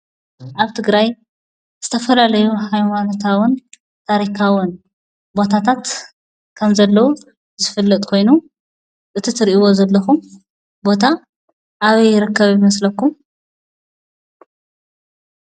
ኣብ ትግራይ ዝተፈላለዩ ሃይማኖታውን ታሪካውን ቦታታት ከምዘለው ዝፍለጥ ኮይኑ፣ እቲ ትሪእዎ ዘለኹም ቦታ ኣበይ ይርከብ ይመስለኩም?